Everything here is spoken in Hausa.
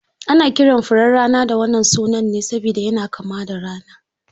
Ana kiran furen rana da wannan suna ne saboda yana kama da rana.